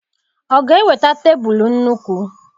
Ọ ga-eweta tebụlụ nnukwu?